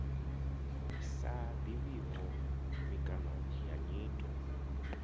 sa ḓivhiho mikano ya nyito